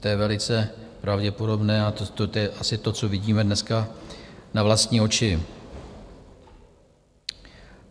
To je velice pravděpodobné a to je asi to, co vidíme dneska na vlastní oči.